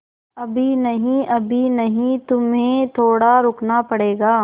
अभी नहीं अभी नहीं तुम्हें थोड़ा रुकना पड़ेगा